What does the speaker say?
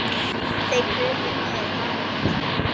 Þeir krupu niður að Magga.